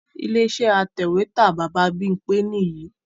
Ilé iṣẹ́ atẹ̀wẹ́tà Baba Bímpé nìyìí